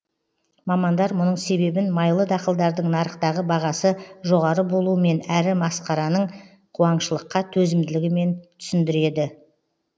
мамандар мұның себебін майлы дақылдардың нарықтағы бағасы жоғары болуымен әрі мақсарының қуаңшылыққа төзімділігімен түсіндіреді